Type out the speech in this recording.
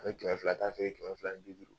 A bɛ kɛmɛ filata feere kɛmɛ fila ni bi duuru